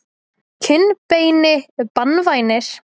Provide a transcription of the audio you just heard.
kinnbeini banvænir?